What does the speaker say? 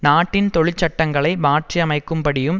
நாட்டின் தொழிற்சட்டங்களை மாற்றியமைக்கும்படியும்